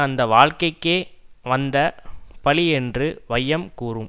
அந்த வாழ்க்கைக்கே வந்த பழியென்று வையம் கூறும்